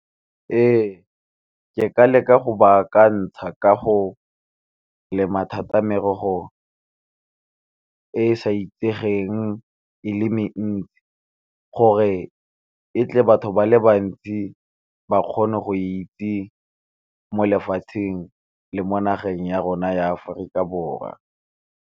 Ee, ke ka leka go ba akantsha ka go lema thata merogo e e sa itsegeng e le mentsi, gore e tle batho ba le bantsi ba kgone go itse mo lefatsheng le mo nageng ya rona ya Aforika Borwa.